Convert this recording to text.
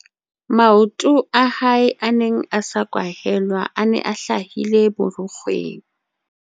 maoto a hae a neng a sa kwahelwa a ne a hlahile borukgweng